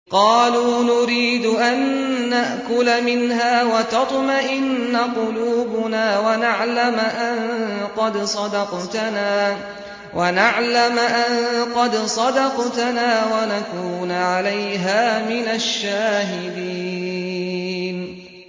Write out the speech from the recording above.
قَالُوا نُرِيدُ أَن نَّأْكُلَ مِنْهَا وَتَطْمَئِنَّ قُلُوبُنَا وَنَعْلَمَ أَن قَدْ صَدَقْتَنَا وَنَكُونَ عَلَيْهَا مِنَ الشَّاهِدِينَ